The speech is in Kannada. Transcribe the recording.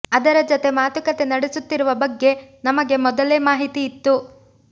ಅದರ ಜತೆ ಮಾತುಕತೆ ನಡೆಸುತ್ತಿರುವ ಬಗ್ಗೆ ನಮಗೆ ಮೊದಲೇ ಮಾಹಿತಿ ಇತ್ತು